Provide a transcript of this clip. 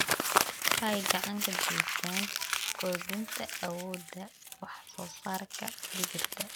Waxay gacan ka geystaan ????kordhinta awoodda wax-soo-saarka digirta.